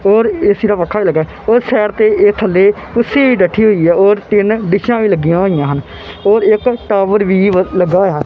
ਹੋਰ ਇਹ ਸੀਰਾ ਵਖਣ ਲੱਗਿਆ ਹੈ ਹੋਰ ਸਾਈਡ ਤੇ ਇਹਦੇ ਥੱਲੇ ਕੁਰਸੀ ਡਠੀ ਹੋਇਆ ਔਰ ਤਿੰਨ ਡਿਸ਼ਾਂ ਵੀ ਲੱਗਿਆਂ ਹੋਈਆਂ ਹਨ ਹੋਰ ਇੱਕ ਟਾਵਰ ਵੀ ਵੱਸ ਲੱਗਾ ਹੋਇਆ ਹੈ।